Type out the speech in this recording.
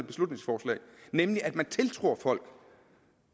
beslutningsforslag nemlig at man tiltror folk